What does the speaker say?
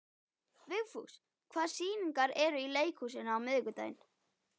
Vigfús, hvaða sýningar eru í leikhúsinu á miðvikudaginn?